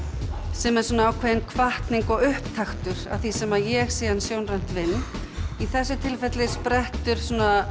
sem er ákveðin hvatning og upptaktur að því sem ég síðan sjónrænt vinn í þessu tilfelli sprettur